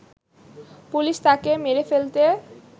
police তাকে মেরে ফেলতে